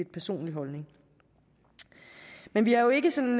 personlig holdning men vi har jo ikke sådan